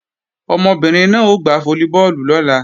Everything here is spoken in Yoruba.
Ọmọbìnrin náà ó gbá fólíbọọ̀lù lọ́la